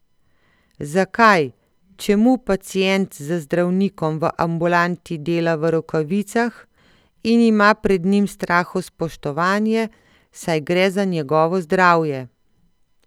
Zakaj, čemu pacient z zdravnikom v ambulanti dela v rokavicah, in ima pred njim strahospoštovanje, saj gre za njegovo zdravje?